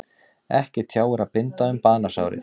Ekki tjáir að binda um banasárið.